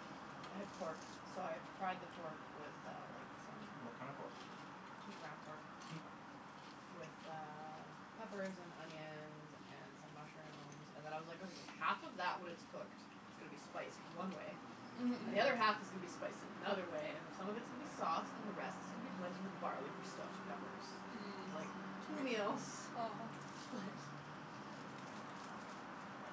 I had pork, so I fried the pork with uh like, some What kinda pork? Just ground pork Mkay. with uh, peppers and onions and some mushrooms and then I was like, okay half of that when it's cooked is gonna be spiced one way And Mhm. the other half is gonna be spiced in another way, and Mhm. some of it's gonna be sauce, and the rest is gonna be blended with barley for stuffed peppers. Mm. Like, two meals. Split. Right. But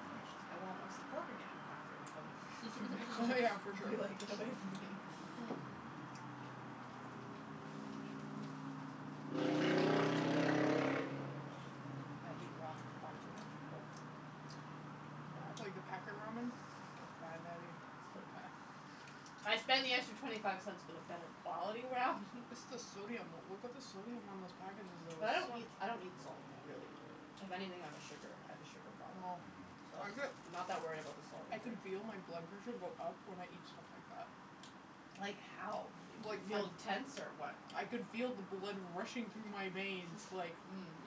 I won't wanna see pork again after a week, from now Yeah, for sure. be like, "Get away from me." Nice. Mhm. I eat ramen far too much at work. Yeah. Like the packet ramen? That's It's bad, Natty. bad. So Mm. bad. I spend the extra twenty five cents for the better quality ramen. It's the sodium, look at the sodium on those packages though. But I It's don't so eat, I don't eat salt, really. If anything, I'm a sugar, I have a sugar problem. Oh. So, I I'm bet not that worried about the salt I can intake. feel my blood pressure go up when I eat stuff like that. Like Like, Mhm. how? You, you the, feel tense or what? I can feel the blood rushing through my veins, like,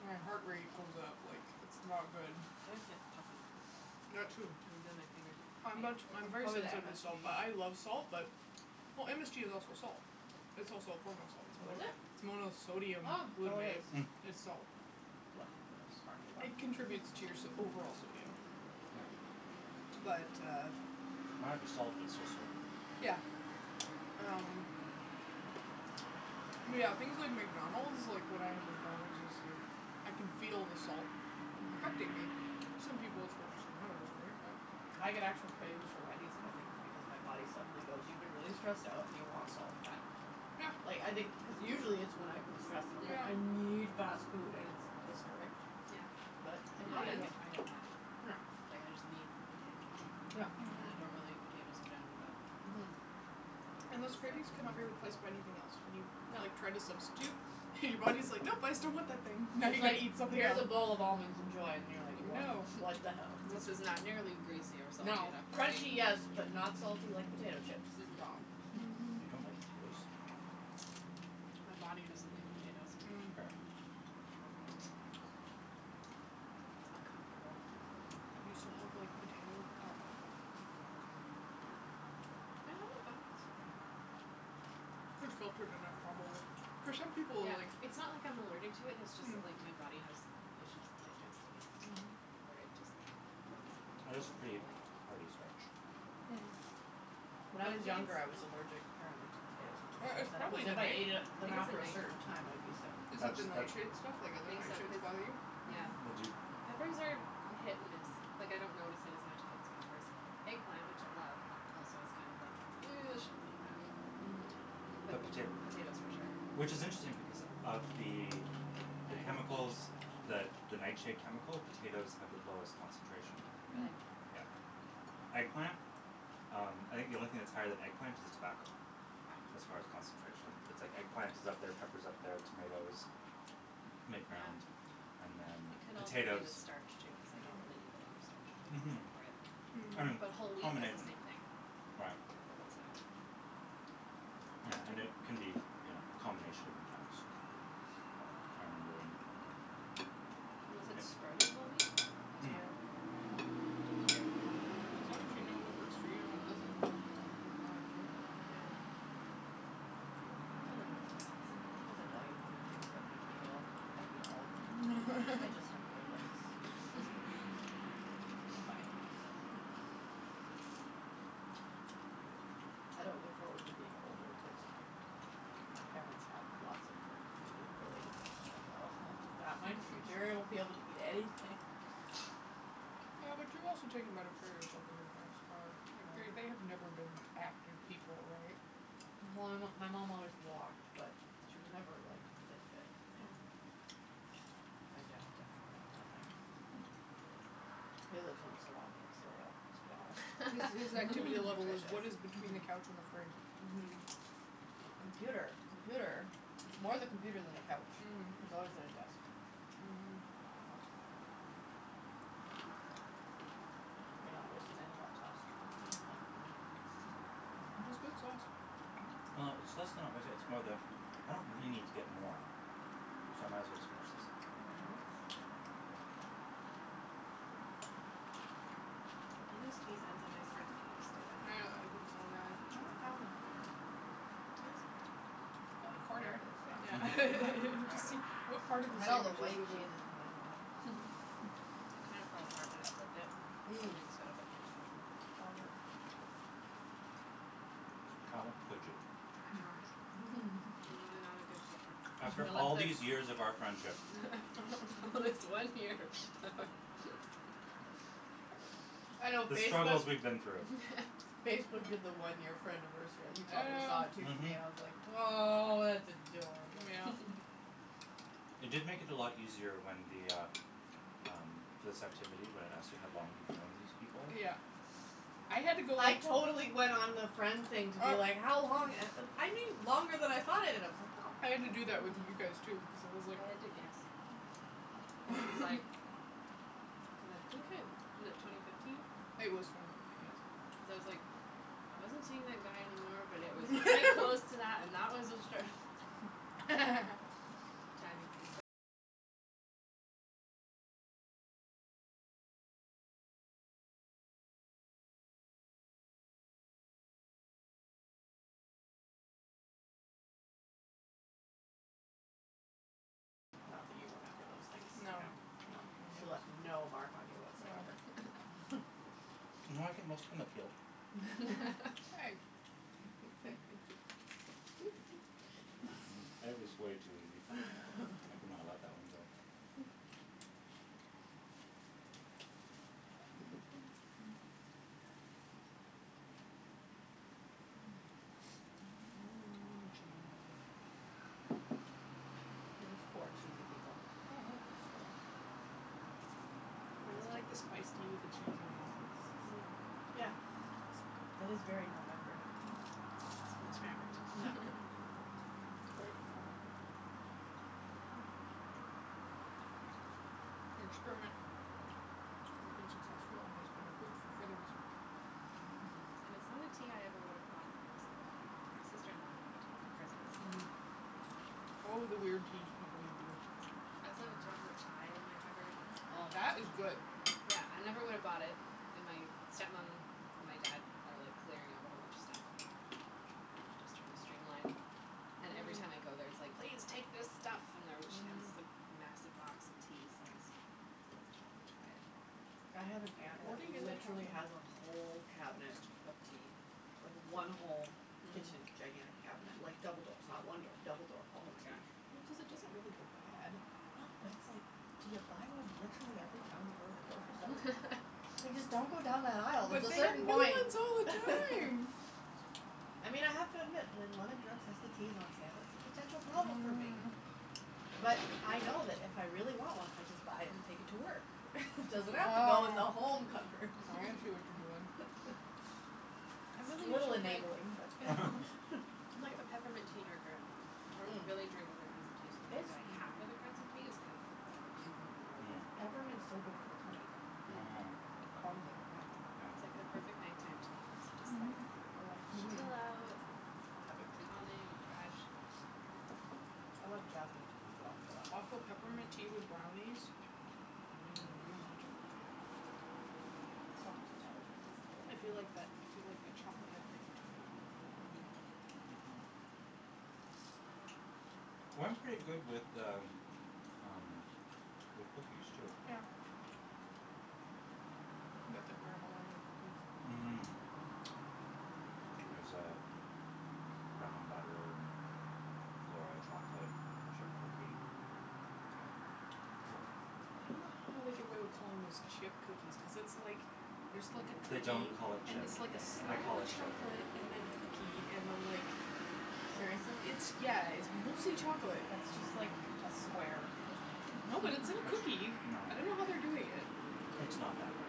my heart rate goes up, like, it's not good. I just get puffy. I That too. I'm puffy much, Mm. I'm That's afterwards. very probably the sensitive to salt MSG. but I love salt. But, well MSG is also salt. It's also a form of salt. It's Oh is mo- it? it's Oh, so monosodium glutamate. it is. Mm. It's Well, salt. look how smart you are. It contributes to your so- overall sodium. Yes. But uh Might be salt, but it's still sodium. Yeah. Um yeah, things like McDonald's, like when I have McDonald's, it's like, I can feel the salt, affecting me. Some people it's worse than others, right? Mm. I get Mm. actual cravings for Wendy's and I think it's because my body suddenly goes, "You've been really stressed out and you want salt and fat." Yeah. Like, I think cuz usually it's when I've been stressed and I'm like, Yeah. "I need fast food," and it's disturbing? Mm. Yeah, But it yeah I happens. get I get mad. Yeah. Like, I just need potato Yep. chips, and Mhm. I don't really eat potatoes in general, but Mhm. And Sometimes those it's just cravings cannot like be replaced by anything else, when you, No. like, try to substitute and your body's like, "Nope! I still want that thing." "Now you It's gotta like, eat something "Here's a else." bowl of almonds, enjoy." And you're like, "What? No. What the hell?" "This is not nearly greasy or salty No. enough for Crunchy, me." Mhm. yes, but not salty like potato chips. It's wrong. Mhm. You don't like potatoes? My body doesn't like potatoes. Mm. Fair. Oh. It's uncomfortable. You still have like potato alcohol? Like vodka? I have a vodka Those too you're gonna have trouble with. For some people, Yeah, like It's not like I'm allergic to it, it's just that Mm. like my body has issues digesting it. Mhm. Where it just bloats Potatoes are pretty uncomfortably. hearty starch. Mm. When I But I was think it's younger, I was allergic apparently to potatoes and Or tomatoes it's and it was probably if I ate it I then think it's a after a night certain time I'd be sick. Is it That's the that nightshade stuff? Like I other think so, nightshades cuz, bother you? yeah. But Mhm. do Peppers are hit and miss, like I don't notice it as much if it's peppers. Eggplant, which I love, also is kind of like, ew I shouldn't eat that. you But potato Potatoes for sure. Which is interesting because of the the I chemicals, the don't the nightshade eat chemical? Potatoes have the potatoes. lowest concentration. Mm. Really? Yeah. Eggplant? Um, I think the only thing that's higher than eggplant is tobacco. Wow. As far as concentration, but it's like eggplant is up there, pepper's up there, tomatoes, mid-ground, and then It could also be the potatoes. starch too, cuz I con't really Mm. eat a lot of starchy things Mhm. except bread, Mhm. but whole wheat does the Combination. same thing. Right. So. Yeah, and it Tristan. can be you know, a combination of impacts. Mhm. But I remember when Unless it's sprouting whole wheat? That's Mm. fine. It's weird. Yeah, as long as you know what works for you and what doesn't. That's all that really matters, right? Yeah. It's a learning process. Mhm. There's a million food things that make me ill. I eat all of them. I just have Rolaids. Why? I don't look forward to being older cuz my parents have lots of like, food related things, and like oh Is that my future? I won't be able to eat anything. Yeah but you've also taken better care of yourself than your parents are, like, they they have never been active people, right? Well Well my my mom always walked, but she was never like fit fit, yeah. Mm. My dad definitely, nothing. He lives on salami and cereal, let's be honest. His his activity level was what Nutritious. is between the couch and the fridge. Mhm. Mhm. Mhm. Computer, Mhm. computer, it's more the computer than the couch. Mm. He's always at his desk. Mhm. Mhm. You're not wasting any of that sauce. That's good sauce. Well, it's less than not wasting it, it's more the I don't really need to get more, so I might as well just finish this up. Mhm. The Guinness cheese has a nice earthiness to it. I know, I think so, yeah I think I haven't found that one yet. It looks burnt. I got a Ah, there corner. it is. Yeah. All Yeah. Mhm. right, there it Just i see, s. what part of the I had all the sandwich is white with a cheeses in the other one. It kinda fell apart when I flipped it? Mm. Mm. Flippings got a bit mixed up. All good. How could you? I know. I'm really not a good flipper. After all these years of our friendship. This one year. I know The struggles Facebook's we've been through. Facebook did the one year friendiversary you probably saw it Yeah. too for me, Mhm. and I was like, "Aw, that's adorable." Mm yeah. It did make it a lot easier when the, ah, um, this activity when it asks you how long you've known these people? Yeah. I had to go I totally went on the friend Well, thing to be like, how long, a- u- I knew longer than I thought I did. I was like Oh. I had to do that with you guys, too, because it was like I had to guess. It What? was like. Cuz I think I was it twenty fifteen? It was twenty fifteen, yes. Cuz I was like, I wasn't seeing that guy anymore, but it was quite close to that, and that was obstruct Not that you remember those things, no, no. She left no mark on you whatsoever. No. No, I think most of them have healed. Hey. It was way too easy, I could not let that one go. Mm, cheesy. We're just four cheesy people. Mhm. It's I really like the spiced tea with true. the cheese and the apples, it's Mm. like Yeah, so good. that is very November. Successful Yep. experiment. Your experiment has been successful and has been approved for further research. And it's not a tea I ever would have bought Mhm. for myself, my sister in law gave it to me for Christmas. Mhm. Oh, the weird teas people people give you. Yeah. I still have a chocolate chai in my cupboard. Oh. That was good. Yeah, I never would have bought it, and my step mom and my dad are like clearing out a whole bunch of stuff and just trying to stream line And every Mhm. time I go there it's like, "Please take this stuff!" And there she had this like Mhm. massive box of tea so I scored the chocolate chai. I have an aunt that Hoarding is a trouble. literally has a whole cabinet of tea. Like, one whole kitchen gigantic cabinet like, double doors not one door, double door. All of tea. Well, cuz it doesn't really go bad. No but it's like, do you buy one literally every time you go to the grocery store? Like just don't go down that aisle, there's But a they have certain new point! ones all the time! I mean I have to admit when London Drugs has the teas on sale, it's a potential Mhm problem for me. mhm. But I know that if I really want one I just buy it and take it to work. Doesn't have to go in the Oh. home cupboard. I see what you're doing. I'm It's a really little usually like enabling, but I'm like a peppermint tea drinker at home. I don't Mm. really drink other kinds of teas so I don't have other kinds of tea is kind of for other people when they're over. It's Peppermint's so good for the tummy. Mm. Mm. Mmm. Calms it, yeah. I It's like Yeah. the perfect night time tea, cuz it just like Mhm. Relaxes me. Chill out and have have it, it too. calming, and fresh and I love jasmine, as well, for that. Also peppermint tea with brownies. Mm. Mmm. Mmm. Such a good thing. So much intelligence at this table. I feel like that, I feel like that chocolate chocolate mint thing which I do. Mhm. Well it's pretty good with the, um, with cookies too. Yeah. Can get the Granville Island cookies. Mmm. There's uh, brown butter and flora chocolate chip cookie at Mmm. the I dunno how they get away with calling those chip cookies cuz it's like, there's like a They cookie don't call it and chip. it's like a I slab call of it chip. chocolate, and then cookie, and then like, Mmm. Seriously? it's, yeah, it's mostly chocolate. Mmm. No, but it's in a cookie. It's, no. I dunno how they do it yet. It's not that bad.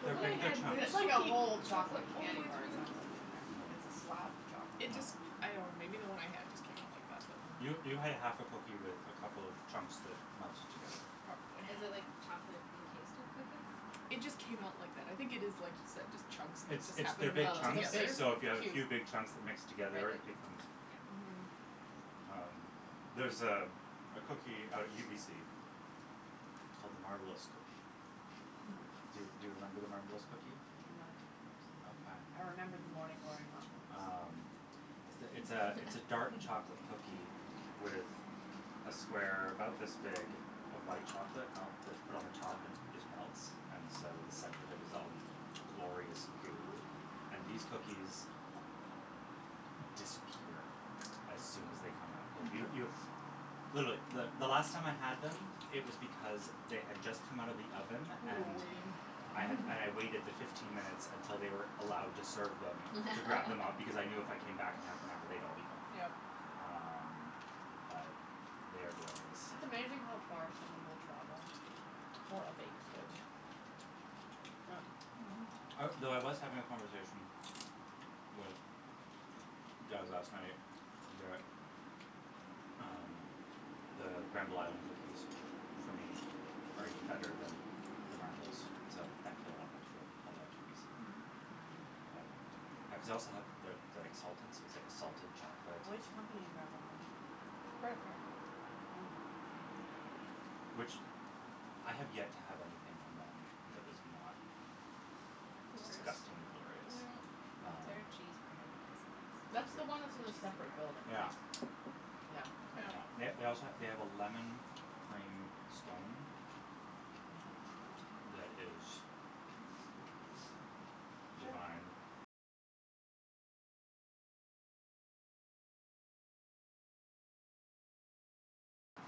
The They're one I big, big had, when chunks. the It's like a cookie whole chocolate chocolate all the candy way bar through it the c- sounds like, in there. Like it's a slab of chocolate. It Mm. No. just, I dunno maybe the one I had just came out like that but You, you had a half a cookie with a couple of chunks that melted together. Probably. Is it like chocolate encased in cookie? It just came out like that, I think it is just like you said, just chunks that It's just it's happened they're to big melt chunks, together. so if you have a Oh. few big chunks that mix It's together becomes Mhm. like Um, there's uh, a a cookie out at UBC big called the Marbleous cookie. cube. Do, do you remember the Marbleous cookie? I'm not a cookie person. Okay. I remember the Morning Glory muffins. Um, it's th- it's a it's a dark chocolate cookie with a square about this big of white chocolate melt that's put on the top and it just melts and so the center of it is all glorious Mm. goo, and these cookies, disappear as soon as they come out. Yo- Mhm. You You were literally the the last time I had them it was because they had just come out of the oven and waiting. I had and I waited the fifteen minutes until they were allowed to serve them to grab them up because I knew if I came back in half an hour they'd all be gone. Yep. Wow. Um, but they are glorious. It's amazing how far someone will travel for a baked good. Yeah. Mhm. I well, I was having a conversation with Jas last night that um, the Granville Island cookies for me are even better than the Marbleous, so thankfully I don't have to go all the way out to UBC. Mhm. But I cuz I also have the the exalted so it's like a salted Mm. chocolate Which company in Granville Island? Bread affair. Oh. Oh. Hmm. Mm. Which, I have yet to have anything from them that was not Glorious. disgustingly glorious. Yeah. Their cheese Um, bread is the best. is That's the one that's The in a cheese and it? separate building, garlic. right? Yeah. Yeah. Yep. They they also ha- they have a lemon cream scone that is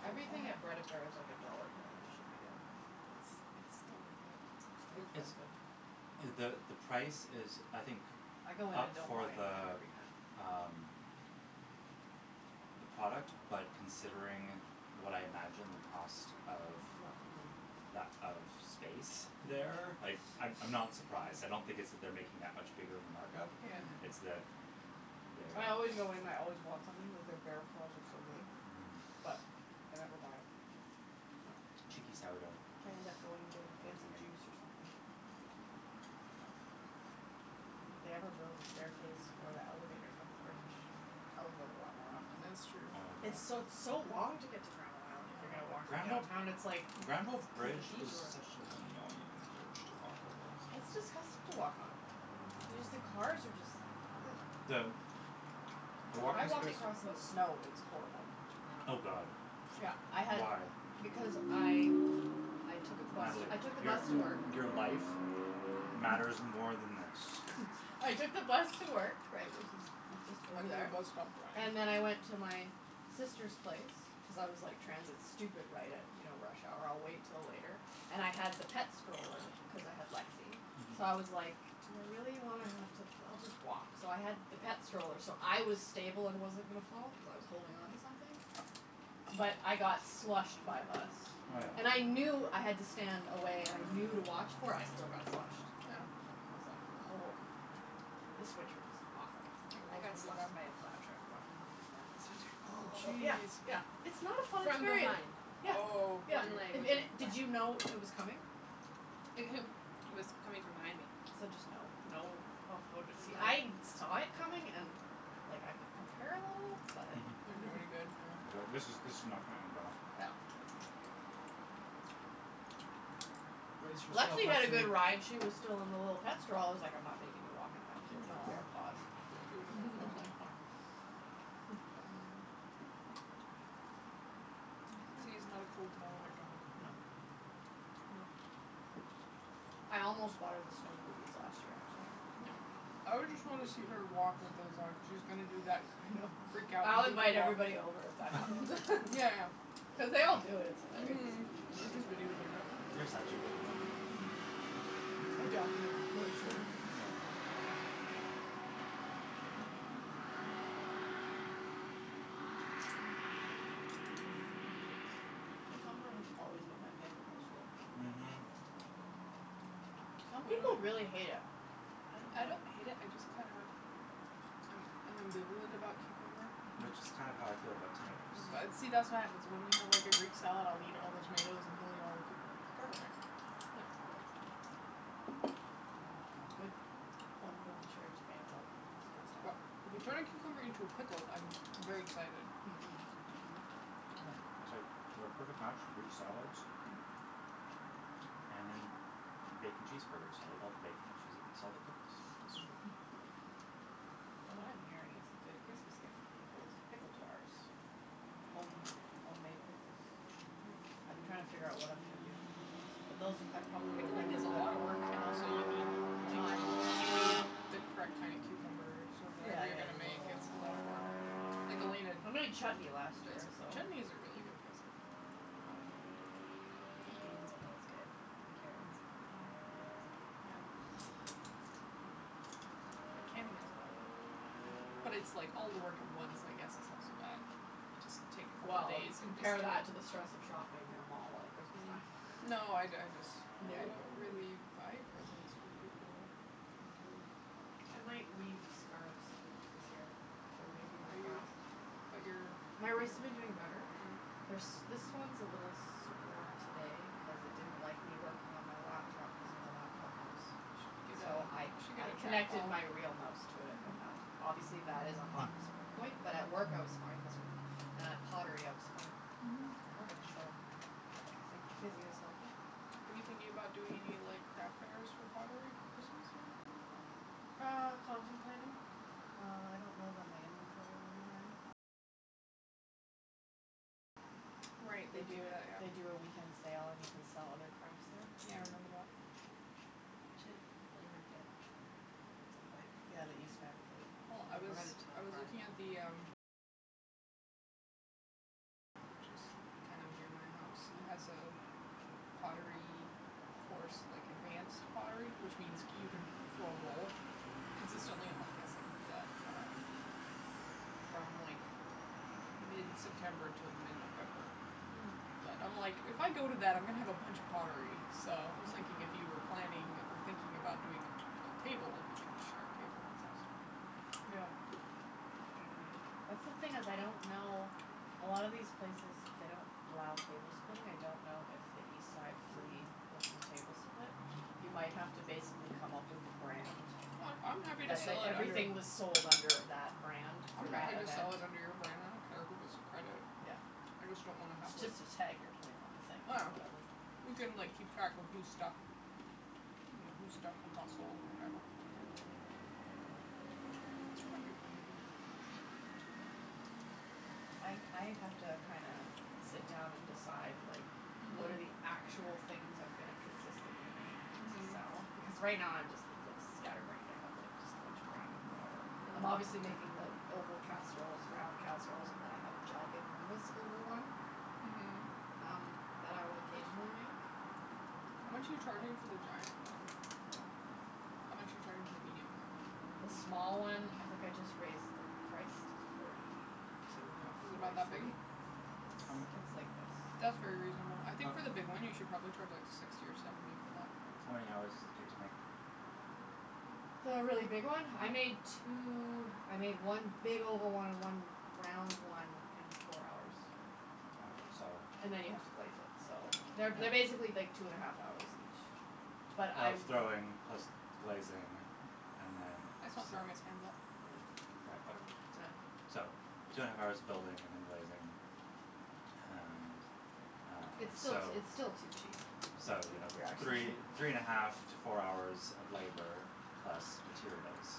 Everything at Bread Affair is like a dollar more than it should be though. But it's it's still worth it. So It it's expensive. the the price is I think I go in up and don't for buy anything the every time. um the product. but considering what I imagine the cost of, Mm. that of that of space there, Mm. like, I'm I'm not surprised, I don't think it's that they're making that much bigger of a markup. Yeah. It's Mm. that there I always go in and I always want something, like, their bear claws are so good. Mhm. But I never buy it. Yep. Cheeky sourdough. I end up going and getting Heard it from fancy me. juice or something. If they ever build a staircase or the elevator from the bridge I will go a lot more often. That's true. Oh It's god. so, it's so long to get to Granville Island if you're gonna Mm. walk from Granville downtown and it's like, Granville cuz of the bridge is detour. such an annoying bridge to walk over. It's disgusting to walk on. Y- Mm. just the cars are just like The The I walking walked space across in the snow, it was horrible. I Oh know. god. Yeah, I had Why? Because I I took out the bus to, Natalie, I took the your bus to work. your life matters more than this. I took the bus to work right, which is, it's just And over then the there. bus stopped drying. And then I went to my sister's place cuz I was like, transit stupid, right at you know, rush hour, I'll wait till later. And I had the pet stroller cuz I had Lexi. Mhm. So I was like, "Do I really wanna have to, I'll just walk." So I had the pet stroller so I was stable and wasn't gonna fall, cuz I was holding onto something. But I got slushed by a bus. Oh yeah. And I Mm. knew I had to stand away and I knew to watch for it, I still got slushed. I was like This winter was awful. Yeah. It I was got slushed by really a bad. plow truck walking home from work last winter. Oh, Oh, yeah, jeez. yeah, it's not a fun From experience. behind. Yeah, Oh yeah, One leg if was just did wet. you know it was coming? It w- it was coming from behind me. So just, no, no, oh I woulda been, see I'm I like saw Yeah it coming and and like, I could prepare a little but Didn't do any good, yeah. It like, Yeah. this is this is not gonna end well. Yeah. Brace yourself, Lexi had a Lexi! good ride, she was still in the little pet stroll- I was like, I'm not making you walk in that with your Mm little aw. bare paws. She woulda been That was frozen. like fine. Mhm. Lexi is not a cold tolerant dog. No. Nope. I almost bought her the snow booties last year, actually. Mm. I would just wanna see her walk with those on cuz she was gonna do that I thing know. of freak out I'll goofy invite walk. everybody over if that happens. Yeah, yeah. Cuz they all do it, it's hilarious. Mhm! Or just video tape it. You're such a good mom. I'd document the torture. Yeah. Cucumber has always been my favorite vegetable. Mhm. Some people really hate it. I don't I don't hate it, I just kinda I'm I'm ambivalent about cucumber. Which is kind of how I feel about tomatoes. See, that's what happens, when we have like a greek salad, I'll eat all the tomatoes and he'll eat all the know cucumbers, it's Perfect. perfect. No. That works. Mm, a good homegrown cherry tomato, though, that's good But stuff. if you turn a cucumber into a pickle I'm very excited. Mm, mhm. Mm, it's like we're a perfect match for greek salads. Mhm. And in bacon cheeseburgers, I'll eat all the bacon and she's eats all the pickles. What I'm hearing is a good Christmas gift for people is pickle jars. Home homemade pickles. I've been trying to figure out what I'm gonna do Mm. for Christmas. But those, I probably would've Pickling is a lotta work. And also, you need, like Time. You need the correct kinda cucumbers, or Yeah, whatever you're yeah, gonna the make little ones. It's a lotta work or Like Elena I d- made chutney last Who does year, every- so Chutney is a really Mm. good present. Yeah. Um Pickled beans are always good, and carrots. They're Mhm. pretty easy. Yeah. Hmm. Mm. But canning is a lotta work. Yeah. But it's like all the work at once, I guess it's not so bad. You just take a couple Well, days you and just compare that do it. to the stress of shopping at a mall at Christmas time. Mm. No, I d- I dis- No. I don't really buy presents for people. Kinda terrible, but I might weave scarves this year. They're reasonably Are you fast. But your My wrists have been doing better. Mm. They're s- this one's a little sore today cuz it didn't like me working on my laptop using the laptop mouse. You should get So I a You should get I a connected trackball. my real mouse to it and Mhm. that, obviously that is a Hmm. hot s- point, but at work I was fine this week. And at pottery, I was fine. Mhm. So, I think the physio's helping. Are you thinking about doing any like craft fairs for pottery for Christmas, or anything like that? Uh, contemplating. Uh, I don't know that my inventory will be high enough. Right, they They do do it, that, they yeah. do a weekend sale and you can sell other crafts there. Yeah, I remember Mm. that. We should flea market at some point. Yeah, the East Van Flea. Well I was I was looking at the, um Which is kind of near my house It has Oh. a pottery course, like, advanced pottery which means c- you can throw a bowl. Consistently, I'm like "yes, I can do that." Um From like, mid-september to mid-november. Mm. But, I'm like, if I go to that, I'm gonna have a bunch of pottery. So I was thinking if you were planning or thinking about doing a a table, if we could just share a table and sell stuff. That's the thing is, I don't know, a lot of these places, they don't allow table splitting, I don't know if the East Side Flea Hmm. lets you table split. You might have to basically come up with a brand. I'm happy to That, sell, that like, under everything was sold under that brand I'm for happy that to event. sell it under your brand, I don't care who gets the credit. Yeah. I just don't wanna have like It's just a tag you're putting on the thing or whatever. Ah. We can, like, keep track of whose stuff Mm whose stuff and got sold, and whatever. Yeah. Mhm. It might be fun to do. I I have to kinda sit down and decide like, what are Mhm. actual things I'm gonna consistently make to Mhm. sell, because right now I'm just, it looks scatterbrained, I have like just a bunch of random whatever. I'm Mhm. obviously making the oval casseroles, round casseroles, and then I have a giganormous oval one Mhm. um, that I'll occasionally make. How much are But you charging for the giant one? I don't know yet. How much are you charging for the medium one? The small one, I think I just raised the price to forty two or H- Is it about forty that big? three. It's How m- it's like this. That's very reasonable I think for How the big one, you should probably charge like, sixty or seventy for that. How many hours does it take to make? The really big one? I How made two, I made one big oval one and one round one in four hours. Mkay, so And then you have to glaze it, so They're, they're Yeah. basically like two and a half hours each. But I Of w- throwing plus glazing and then It's not throwing, it's handle. Yeah. Yeah. So, two and a half hours of building and then glazing. And Um, It's still t- it's so still too cheap. So, you Like know, if you're actually three three and a half to four hours of labor plus materials.